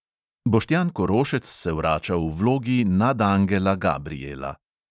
Boštjan korošec se vrača v vlogi nadangela gabrijela.